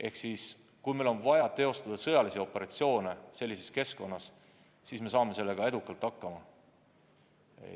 Ehk siis, kui meil on vaja teostada sõjalisi operatsioone sellises keskkonnas, siis me saame sellega edukalt hakkama.